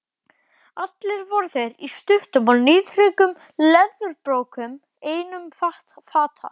Allir voru þeir í stuttum og níðþröngum leðurbrókum einum fata.